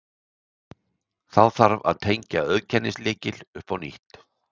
Þá þarf að tengja auðkennislykil upp á nýtt.